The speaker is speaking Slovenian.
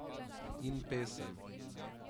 In pesem.